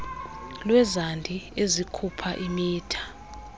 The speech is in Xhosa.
lwezandi ezikhupha imitha